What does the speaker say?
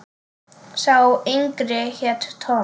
Sá yngri hét Tom.